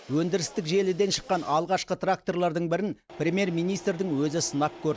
өндірістік желіден шыққан алғашқы тракторлардың бірін премьер министрдің өзі сынап көрді